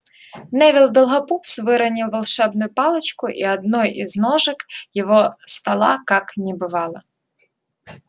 невилл долгопупс выронил волшебную палочку и одной из ножек его стола как не бывало